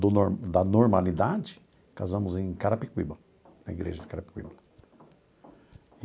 do nor da normalidade, casamos em Carapicuíba, na igreja de Carapicuíba.